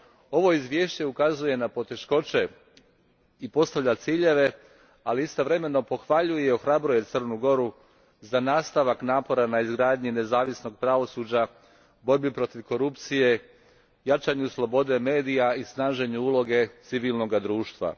Ovo izvješće ukazuje na poteškoće i postavlja ciljeve, ali istovremeno pohvaljuje i ohrabruje Crnu Goru za nastavak napora na izgradnji nezavisnog pravosuđa, borbi protiv korupcije, jačanju slobode medija i snaženju uloge civilnog društva.